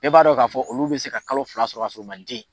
Bɛɛ b'a dɔn k'a fɔ, olu bi se ka kalo fila sɔrɔ ka sɔrɔ u ma den